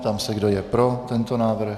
Ptám se, kdo je pro tento návrh.